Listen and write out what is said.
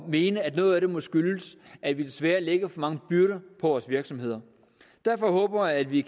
mene at noget af det må skyldes at vi desværre lægger for mange byrder på vores virksomheder derfor håber jeg at vi